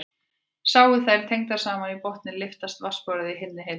Séu þær tengdar saman í botninn lyftist vatnsborðið í hinni heitari.